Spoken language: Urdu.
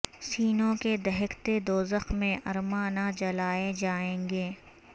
سینوں کے دہکتے دوزخ میں ارماں نہ جلائے جائیں گے